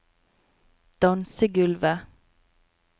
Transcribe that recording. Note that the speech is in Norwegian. dansegulvet